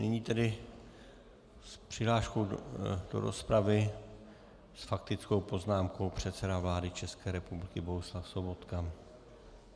Nyní tedy s přihláškou do rozpravy, s faktickou poznámkou předseda vlády České republiky Bohuslav Sobotka.